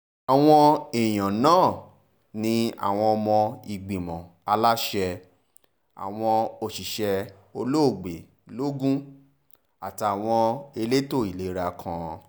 àwọn èèyàn náà ní àwọn ọmọ ìgbìmọ̀ aláṣẹ àwọn òṣìṣẹ́ olóògbé lọ́gùn àtàwọn elétò ìlera kan